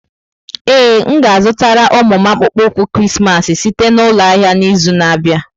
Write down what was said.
Ee, m ga-azụtara ụmụ m akpụkpọ ụkwụ Krismas site na ụlọ ahịa n'izu na-abịa.